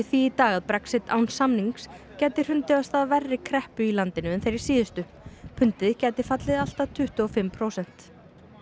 því í dag að Brexit án samnings gæti hrundið af stað verri kreppu í landinu en þeirri síðustu pundið gæti fallið um allt að tuttugu og fimm prósent